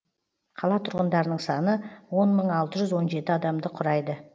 қала тұрғындарының саны он мың алты жүз он жеті адамды құрайды